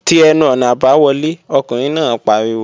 Ti ẹnu-ọ̀nà àbáwọlé! Ọkùnrin náà pariwo